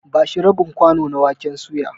Ba shi rabin kwano na waken suya.